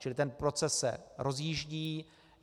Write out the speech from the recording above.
Čili ten proces se rozjíždí.